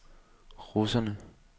russerne